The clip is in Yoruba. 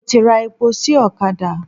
Mo ti ra epo sí ọ̀kadà.